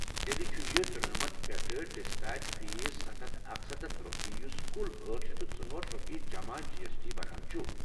تیٚلہِ چھُ یہِ ترونَمتَھ پیٚٹھہٕ ڈسپیچ فیس ستھَ ہتھ اکسَتتھ رۄپیہ یُس کُل أٹھ شیتھ تہٕ ژوٚہأٹھ رۄپیہِ جمع جی ایس ٹی بنان چُھ۔